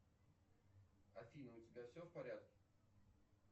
афина у тебя все в порядке